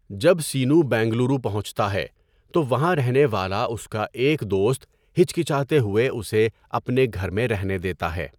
جب سینو بنگلورو پہنچتا ہے، تو وہاں رہنے والا اس کا ایک دوست ہچکچاتے ہوئے اسے اپنے گھر میں رہنے دیتا ہے۔